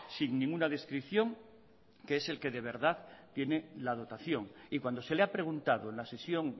sin ninguna descripción que es el que de verdad tiene la dotación y cuando se le ha preguntado en la sesión